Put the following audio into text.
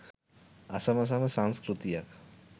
අසමසම සංස්කෘතියක්